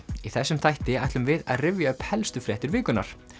í þessum þætti ætlum við að rifja upp helstur fréttir vikunnar